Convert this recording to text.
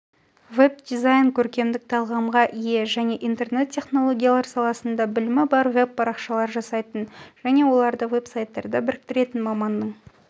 веб-дизайн көркемдік талғамға ие және интернет-технологиялар саласында білімі бар веб-парақшалар жасайтын және оларды веб-сайттарда біріктіретін маманның